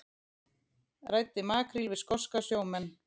Ræddi makríl við skoska sjómenn